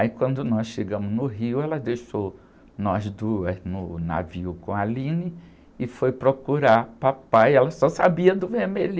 Aí quando nós chegamos no Rio, ela deixou nós duas no navio com a e foi procurar papai, ela só sabia do